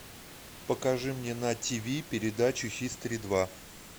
покажи мне на тиви передачу хистори два